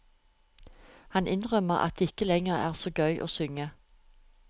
Han innrømmer at det ikke lenger er så gøy å synge.